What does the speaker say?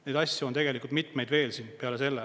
Neid asju on tegelikult mitmeid veel peale selle.